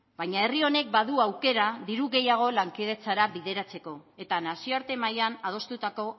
baina herri honek badu aukera diru gehiago lankidetzara bideratzeko eta nazioarte mailan adostutako